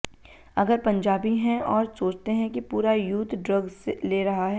अगर पंजाबी हैं और सोचते हैं कि पूरा यूथ ड्रग्स ले रहा है